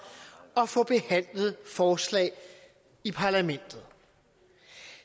og få behandlet forslag i parlamentet